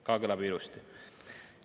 " Kõlab ju ka ilusti!